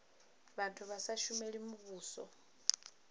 vhathu vha sa shumeli muvhuso